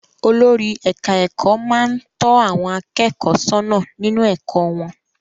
Olórí ẹ̀ka-ẹ̀kọ́ máa ń tọ́ àwọn akẹ́kọ̀ọ́ sọ́nà nínú ẹ̀kọ́ wọn.